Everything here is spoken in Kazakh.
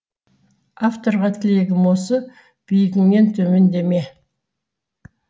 авторға тілегім осы биігіңнен төмендеме